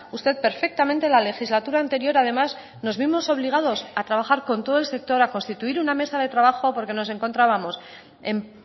usted perfectamente la legislatura anterior además nos vimos obligados a trabajar con todo el sector a constituir una mesa de trabajo porque nos encontrábamos en